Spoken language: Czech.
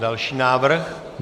Další návrh.